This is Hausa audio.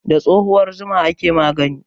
Da tsohuwar zuma ake magani.